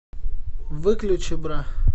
выключи бра